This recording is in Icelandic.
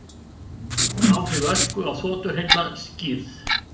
Áhrif ösku á þotuhreyfla skýrð